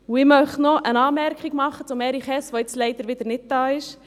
Ich möchte noch eine Anmerkung zu Erich Hess machen, der jetzt leider wieder nicht da ist: